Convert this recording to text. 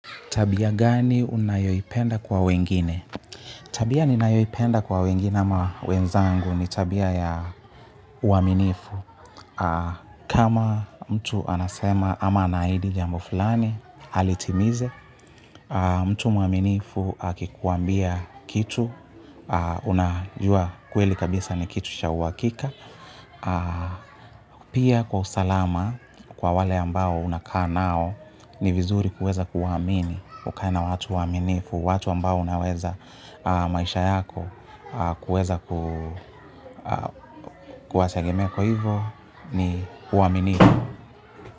Tabia gani unayoi penda kwa wengine? Tabia ni nayoi penda kwa wengine ama wenzangu ni tabia ya uaminifu. Kama mtu anasema ama anaidi jambo fulani, alitimize, mtu mwaminifu akikuambia kitu, unajua kweli kabisa ni kitu cha uhakika. Pia kwa usalama kwa wale ambao unakaa nao ni vizuri kuweza kuwaamini. Ukae na watu waaminifu. Watu ambao unaweza maisha yako kuweza kuwategemea kwa hivo ni uaminifu.